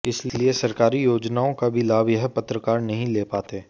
इसलिए सरकारी योजनाओं का भी लाभ यह पत्रकार नहीं ले पाते